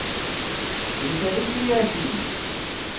editor ফিরে আসি